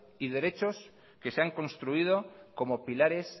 y derechos que se han construido como pilares